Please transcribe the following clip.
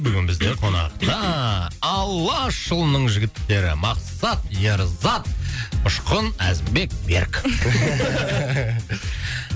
бүгін бізде қонақта алашұлының жігіттері мақсат ерзат ұшқын әзімбек берік